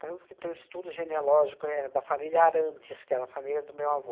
Tanto que tem estudo genealógico éh da família Arantes, que era a família do meu avô.